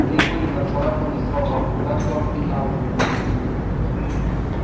в ней были нацарапаны слова так вам и надо